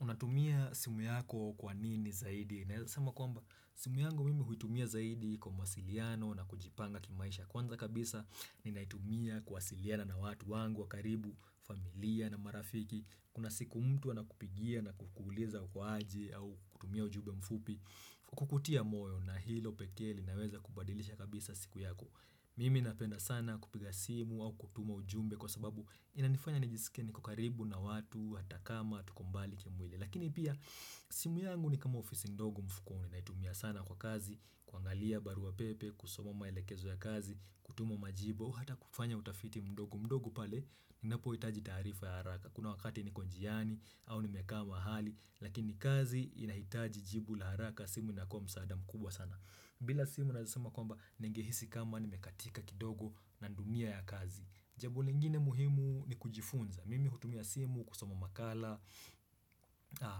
Unatumia simu yako kwa nini zaidi? Naweza sema kwamba, simu yangu mimi huitumia zaidi kwa mwasiliano na kujipanga kimaisha kwanza kabisa. Ninaitumia kuwasiliana na watu wangu wakaribu, familia na marafiki. Kuna siku mtu anakupigia na kukuliza uko aje au kutumia ujumbe mfupi. Kukutia moyo na hilo pekee na linaweza kubadilisha kabisa siku yako. Mimi napenda sana kupiga simu au kutuma ujumbe kwa sababu inanifanya nijisikie niko karibu na watu hata kama tuko mbali kimwili Lakini pia simu yangu ni kama ofisi ndogo mfukoni na naitumia sana kwa kazi kuangalia baru wa pepe, kusomoma melekezo ya kazi, kutuma majibu, hata kufanya utafiti mdogo Mdogu pale ninapo hitaji taarifa ya haraka Kuna wakati niko njiani au nimekaa mahali Lakini kazi inahitaji jibu la haraka simu inakua msaada mkubwa sana bila simu naweza sema kwamba ningehisi kama nimekatika kidogo na dunia ya kazi Jambo lingine muhimu ni kujifunza Mimi hutumia simu kusama makala,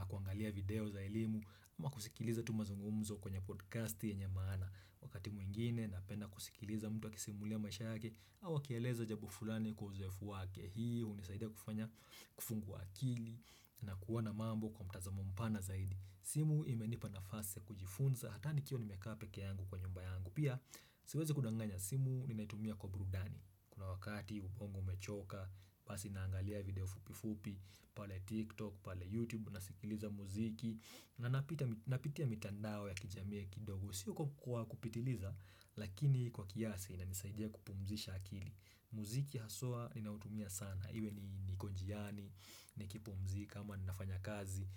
kuangalia video za elimu Ama kusikiliza tumazungumzo kwenye podcasti yenye maana Wakati mwingine napenda kusikiliza mtu akisimulia maisha yake au akieleza jambo fulani kwa uzoefu wake Hii unisaida kufanya kufungua akili na kuwana mambo kwa mtazamo mpana zaidi simu imenipa nafasi kujifunza Hatani kio ni pekee yangu kwa nyumba yangu Pia siwezi kudanganya simu Ninaitumia kwa brudani Kuna wakati ubongo umechoka pasi naangalia video fupi fupi pale tiktok, pale youtube Nasikiliza muziki na napitia mitandao ya kijamiya kidogo Sio kwa kupitiliza Lakini kwa kiasi na nisaidia kupumzisha akili Muziki haswa Ninautumia sana Iwe niko njiani, nikipumzika Ama ninafanya kazi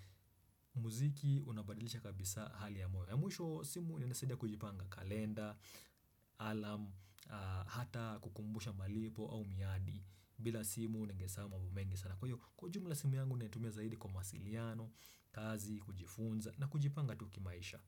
Muziki unabadilisha kabisa hali ya moyo ya mwisho simu imenisadia kujipanga kalenda, alarm, hata kukumbusha malipo au miadi bila simu ningesahau mambo mengi sana. Kwa kujumula simu yangu natumia zaidi kwa masiliano, kazi, kujifunza na kujipanga tuki maisha.